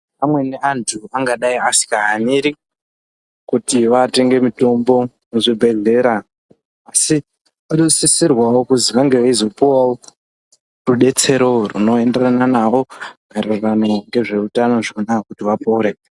Amweni antu angadai asikahaniri kuti vatenge mitombo kuzvibhedhlera, asi vanosisirwawo kuzi vange veyizopuwavo rudetsero rwunoenderana navo maererano ngezveutano zvona kuti vapore.